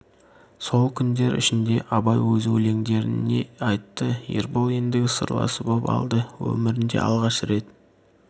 сол күндер ішінде абай өз өлеңдерін де айтты ербол ендігі сырласы боп алды өмірінде алғаш рет